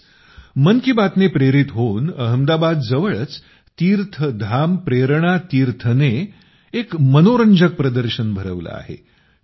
असंच मन की बात ने प्रेरित होऊन अहमदाबादच्या जवळच तीर्थधाम प्रेरणा तीर्थनं एक मनोरंजक प्रदर्शन भरवलं आहे